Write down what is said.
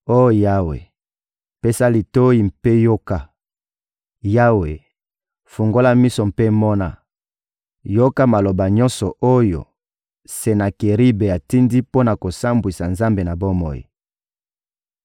Oh Yawe, pesa litoyi mpe yoka; Yawe, fungola miso mpe mona! Yoka maloba nyonso oyo Senakeribe atindi mpo na kosambwisa Nzambe na bomoi.